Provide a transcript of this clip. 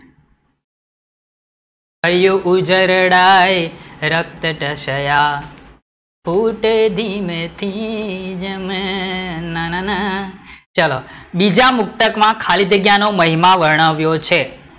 હૈયું ઉજરડાય, રક્ત ટસયા, ફૂટે દિન તેજ મેં ન ન ન, ચલો બીજા મુક્તક માં ખાલી જગ્યા નો મહિમા વર્ણવ્યો છે